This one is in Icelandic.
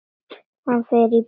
Hann fer í bæinn!